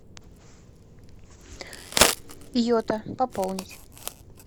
йота пополнить